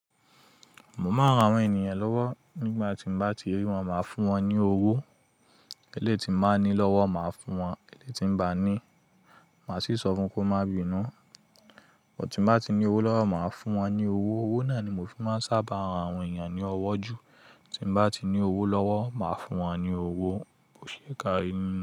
Mo máà ń ran àwọn ènìyàn lọ́wọ́ nígbà tí m bá ti rí wọn, máa fún wọn ní owó. Elétì tí mo bá ní lọ́wọ́, màá fún wọn. Elétì tí n bá ní, màá sì sọ fún wọn kó má bí i nù. Bó ti bá ti ní owó lọ́wọ́, màá fún wọn ní owó. Owó náà ni mo fi máa ń sábà ran àwọn ènìyàn ní ọwọ́ jù. Tí n bá ti ní owó lọ́wọ́, màá fún wọn ní owó, kò ṣe kí á rí inú.